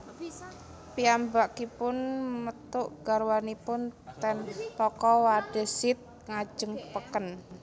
Piyambakipun methuk garwanipun ten toko Wadezid ngajeng peken